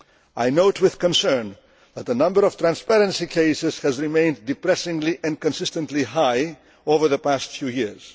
I note with concern that the number of transparency cases has remained depressingly and consistently high over the past few years.